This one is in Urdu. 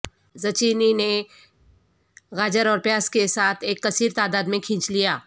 زچینی نے گاجر اور پیاز کے ساتھ ایک کثیر تعداد میں کھینچ لیا